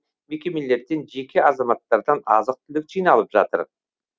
мекемелерден жеке азаматтардан азық түлік жиналып жатыр